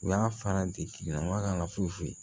U y'a fara de tigila maa kan ka foyi foyi